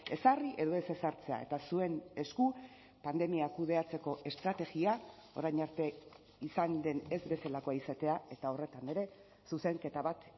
ezarri edo ez ezartzea eta zuen esku pandemiak kudeatzeko estrategia orain arte izan den ez bezalakoa izatea eta horretan ere zuzenketa bat